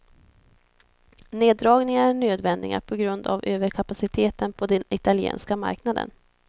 Neddragningarna är nödvändiga på grund av överkapaciteten på den italienska marknaden.